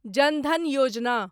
जन धन योजना